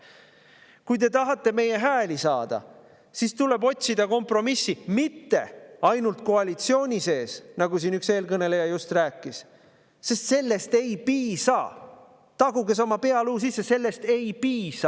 Kui te tahate meie hääli saada, siis tuleb kompromissi otsida mitte ainult koalitsiooni sees, nagu siin üks eelkõneleja just rääkis – sellest ei piisa, taguge see oma pealuu sisse!